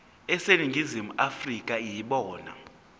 aseningizimu afrika yibona